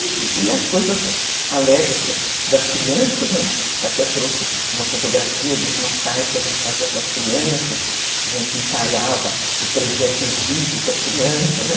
E as coisas alegres das crianças, né, até trouxe uma fotografia dos natais que a gente fazia com as crianças, a gente ensaiava o presépio vivo com as crianças, né?